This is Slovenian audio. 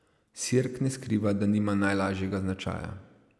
Sirk ne skriva, da nima najlažjega značaja.